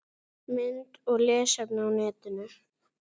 Mynd og lesefni á netinu